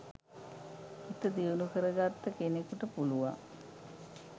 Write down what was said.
හිත දියුණු කරගත්ත කෙනෙකුට පුළුවන්